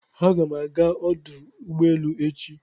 Aga m aga ọdụ ụgbọelu echi.